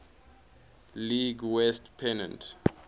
league west pennant